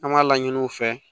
An b'a laɲini u fɛ